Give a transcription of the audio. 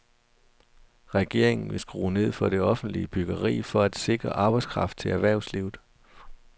Regeringen vil skrue ned for det offentlige byggeri for at sikre arbejdskraft til erhvervslivet.